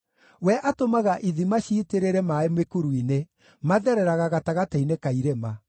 We atũmaga ithima ciitĩrĩre maaĩ mĩkuru-inĩ; mathereraga gatagatĩ-inĩ ka irĩma.